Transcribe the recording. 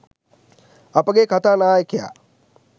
අපගේ කතා නායකයා